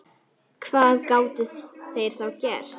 Ha, börn með þér?